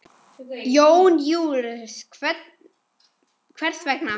Jón Júlíus: Hvers vegna?